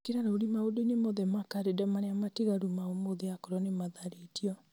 ĩkĩra rũũrĩ maũndũ-inĩ mothe ma karenda marĩa matigaru ma ũmũthĩ akorwo nĩ matharĩtio